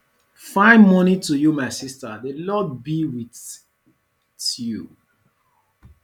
fine morning to you my sister the lord be with tyou